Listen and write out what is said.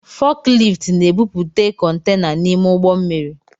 Fọkilift na-ebupute kontaina n’ime ụgbọ mmiri